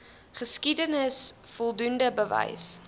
geskiedenis voldoende bewys